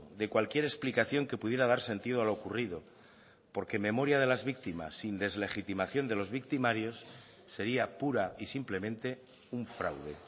de cualquier explicación que pudiera dar sentido a lo ocurrido porque memoria de las víctimas sin deslegitimación de los victimarios sería pura y simplemente un fraude